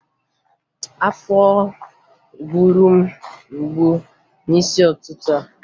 Afọ gburu m mgbu n'isi ụtụtụ a